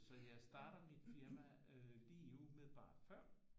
Så jeg starter mit firma lige umiddelbart før